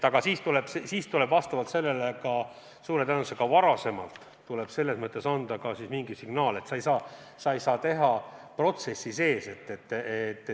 Aga siis tuleb suure tõenäosusega varem anda mingi signaal, et seda ei saa teha protsessi sees.